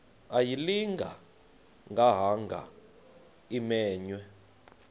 ayilinga gaahanga imenywe